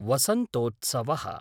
वसन्तोत्सवः